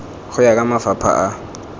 go ya ka mafapha a